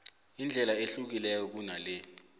indlela ehlukileko kunale